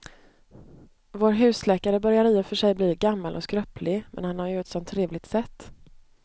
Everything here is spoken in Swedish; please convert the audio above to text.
Vår husläkare börjar i och för sig bli gammal och skröplig, men han har ju ett sådant trevligt sätt!